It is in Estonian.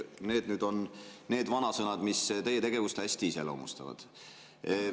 Need on need vanasõnad, mis teie tegevust hästi iseloomustavad.